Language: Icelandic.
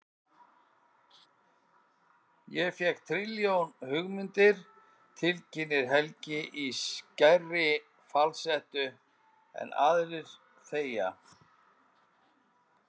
Ég fékk trilljón hugmyndir, tilkynnir Helgi í skærri falsettu en aðrir þegja.